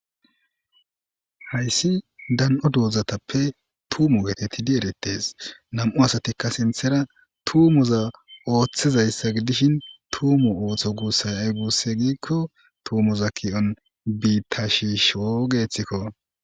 Haysi dan'o dozatappe tumo getetidi eretes nam'u asatika sinthara tumoza oothishe beetishin tumo ootho gusay ay guide giko tumoza ki'o bita shiisho gethiko